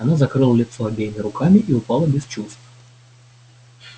она закрыла лицо обеими руками и упала без чувств